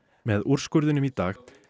með úrskurðinum í dag